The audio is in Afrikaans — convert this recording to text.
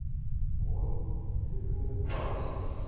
waarop rekeninge tans